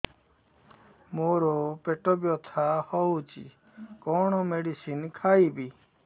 ମୋର ପେଟ ବ୍ୟଥା ହଉଚି କଣ ମେଡିସିନ ଖାଇବି